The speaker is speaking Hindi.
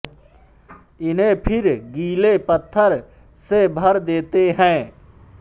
इन्हें फिर गीले पत्थर से भर देते हैं